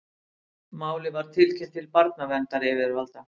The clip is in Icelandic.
Málið var tilkynnt til barnaverndaryfirvalda